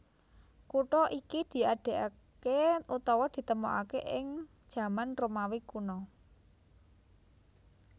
Kutha iki diadegaké utawa ditemokaké ing jaman Romawi kuna